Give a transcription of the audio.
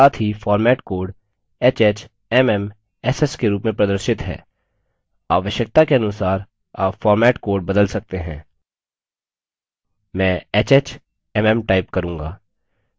साथ ही format code hh: mm: ss के रूप में प्रदर्शित है आवश्यकता के अनुसार आप format code बदल सकते हैं मैं hh: mm type करूँगा